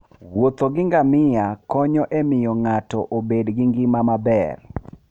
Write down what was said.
Wuotho gi ngamia konyo e miyo ng'ato obed gi ngima maber